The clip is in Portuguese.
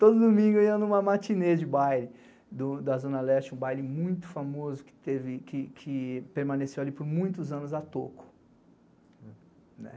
Todo domingo eu ia numa matinê de baile da Zona Leste, um baile muito famoso que permaneceu ali por muitos anos, a toco.